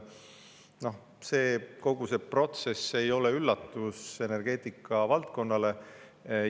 Kogu see protsess ei ole energeetikavaldkonnale üllatus.